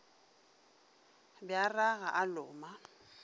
be a ragaka a loma